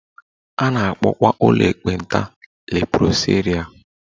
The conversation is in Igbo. A na-akpọkwa ụlọ ekpenta leprosaria